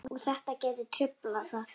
Og þetta gæti truflað það?